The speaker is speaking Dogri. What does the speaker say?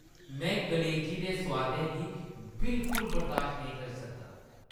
में कलेजी दे सोआदै गी बिलकुल बर्दाश्त नेईं करी सकदा।